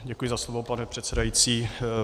Děkuji za slovo, pane předsedající.